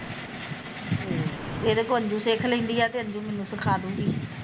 ਇਹਦੇ ਕੋ ਅੰਜੁ ਸਿੱਖ ਲੈਂਦੀ ਆ ਤੇ ਅੰਜੁ ਮੈਨੂੰ ਸਿਖਾਦੂਗੀ